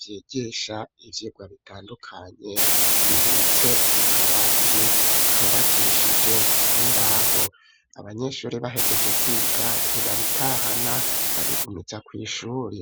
vyigisha ivyigwa bitandukanye, bibitse mu kabati kubakishije imbaho ,abanyeshuri bahejeje kwiga ntibabitahana babigumiza kw'ishuri.